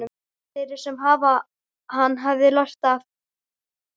Þeirri sem hann hefði lært af.